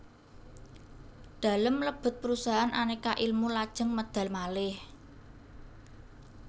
Dalem mlebet perusahaan Aneka Ilmu lajeng medal malih